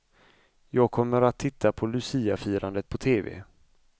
Jag kommer att titta på luciafirandet på tv.